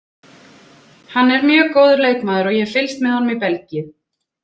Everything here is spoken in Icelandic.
Hann er mjög góður leikmaður og ég hef fylgst með honum í Belgíu.